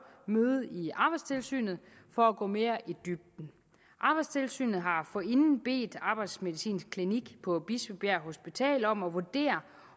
møde i arbejdstilsynet for at gå mere i dybden arbejdstilsynet har forinden bedt arbejdsmedicinsk klinik på bispebjerg hospital om at vurdere